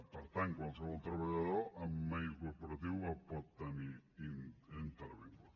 per tant qualsevol treballador amb mail corporatiu el pot tenir intervingut